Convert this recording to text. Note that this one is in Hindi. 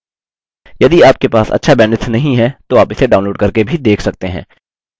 यदि आपके पास अच्छा bandwidth नहीं है तो आप इसे download करके भी देख सकते हैं